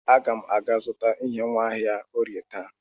Aga m aga azụta ihe nwa n'ahịa Orie taa.